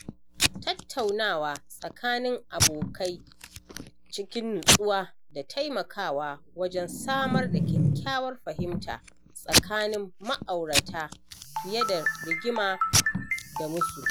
Tattaunawa tsakanin abokai cikin nutsuwa na taimakawa wajen samar da kyakkyawar fahimta tsakanin ma'aurata fiye da rigima da musu